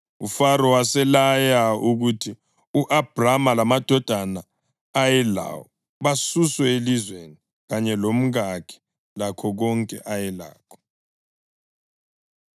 UFaro waselaya ukuthi u-Abhrama lamadoda ayelawo basuswe elizweni, kanye lomkakhe lakho konke ayelakho.